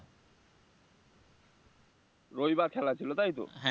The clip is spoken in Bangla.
রবিবার খেলা ছিল তাইতো?